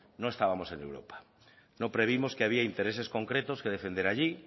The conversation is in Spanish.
no estábamos en europa no previmos que había intereses concretos que defender allí